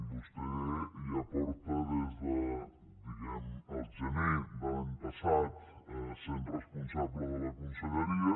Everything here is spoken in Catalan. vostè ja porta des de diguem ne el gener de l’any passat sent responsable de la conselleria